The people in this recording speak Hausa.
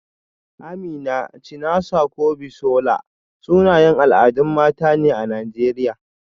Amina, Chinasa ko Bisola, sunayen al'adun mata ne a Najeriya.